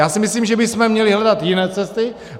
Já si myslím, že bychom měli hledat jiné cesty.